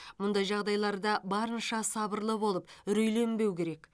мұндай жағдайларда барыншы сабырлы болып үрейленбеу керек